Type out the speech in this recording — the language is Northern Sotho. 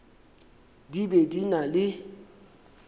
di be di na le